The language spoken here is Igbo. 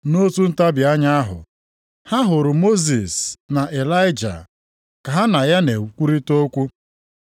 Nʼotu ntabi anya ahụ, ha hụrụ Mosis na Ịlaịja ka ha na ya na-ekwurịta okwu.